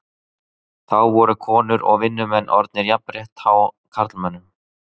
Þá voru konur og vinnumenn orðin jafnrétthá karlmönnum.